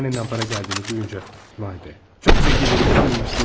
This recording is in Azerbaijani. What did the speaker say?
Anandan pul gəldiyini eşidəndə vay be, çox zəki oğlanmış, dedi.